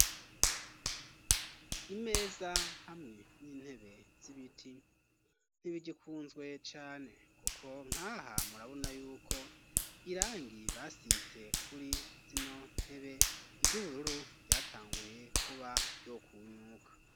Imeza hamwe n'intebe z'ibiti ntibigikunzwe cane kuko nkaha murabuna yuko irangi basize kuri zino ntebe ry'ubururu ryatanguye kuba ryokunyuka.